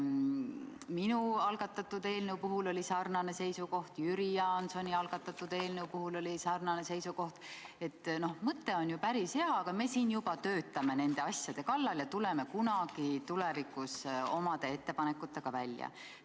Minu algatatud eelnõu puhul oli sarnane seisukoht, Jüri Jaansoni eelnõu puhul oli sarnane seisukoht: et mõte on ju päris hea, aga me juba töötame nende asjade kallal ja tuleme kunagi tulevikus omade ettepanekutega välja.